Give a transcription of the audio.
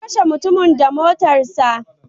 Ya kashe mutumin da motarsa ​​.